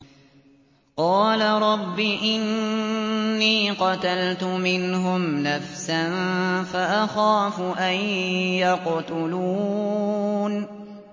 قَالَ رَبِّ إِنِّي قَتَلْتُ مِنْهُمْ نَفْسًا فَأَخَافُ أَن يَقْتُلُونِ